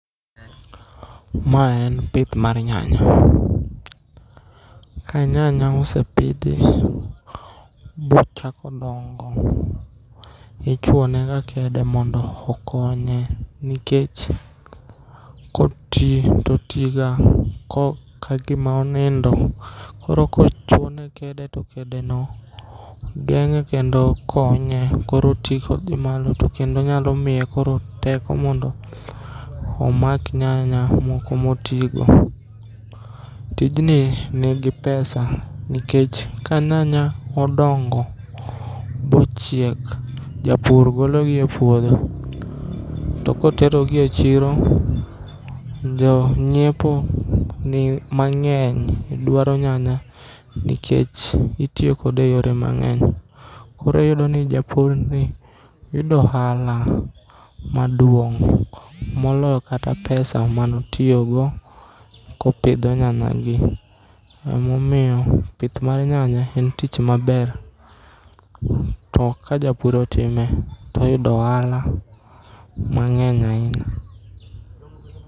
Ma en pith mar nyanya. Ka nyanya osepidhi bochako dongo ichuonega kede mondo okonye nikech kotii totiga ka gima onindo koro kochuone kede to kedeno geng'e kendo konye koro otii kodhi gima to kendo nyalo miye koro teko mondo omak nyanya moko motigo. Tijni nigi pesa nikech kanyanya odongo bochiek, japur gologi e puodho to koterogi e chiro jo nyiepo mang'eny dwaro nyanya nikech itiyo kode e yore mang'eny. Koro iyudoni japurni yudo ohala maduong' moloyo kata pesa manotiyogo kopidho nyanyagi. Emomiyo pith mar nyanya en tich maber to kajapur otime toyudo ohala mang'eny ainya.